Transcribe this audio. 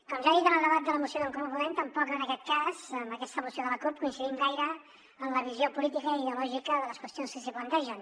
com ja he dit en el debat de la moció d’en comú podem tampoc en aquest cas amb aquesta moció de la cup coincidim gaire en la visió política i ideològica de les qüestions que s’hi plantegen